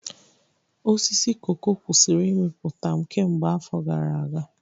Osisi koko kwụsịrị ịmịpụta kemgbe afọ gara aga.